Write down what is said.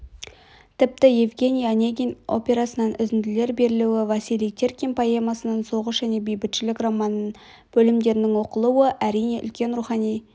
тіпті евгений онегин операсынан үзінділер берілуі василий теркин поэмасынан соғыс және бейбітшілік романынан бөлімдердің оқылуы әрине үлкен рухани